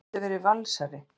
Ég gæti verið Valsari.